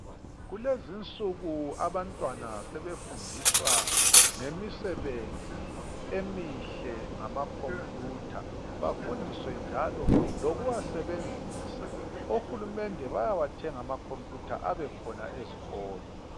Kulezinsuku abantwana sebefundiswa ngemisebenzi emihle ngamakhompuyutha. Bafundiswe njalo lokuwasebenzisa. Ohulumende bayawathenga amakhompuyutha abekhona ezikolo.